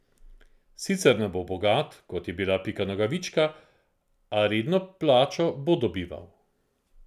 Sicer ne bo bogat, kot je bila Pika Nogavička, a redno plačo bo dobival.